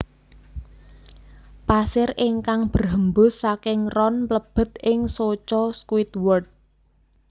Pasir ingkang berhembus saking ron mlebet ing soco Squidward